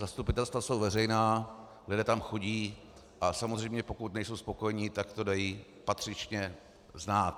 Zastupitelstva jsou veřejná, lidé tam chodí, a samozřejmě pokud nejsou spokojeni, tak to dají patřičně znát.